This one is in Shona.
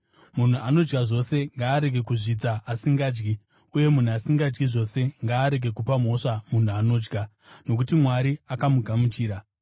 Munhu anodya zvose ngaarege kuzvidza asingadyi, uye munhu asingadyi zvose ngaarege kupa mhosva munhu anodya, nokuti Mwari akamugamuchira.